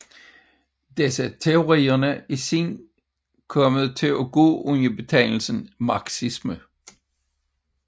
Disse teorier er siden kommet til at gå under betegnelsen marxisme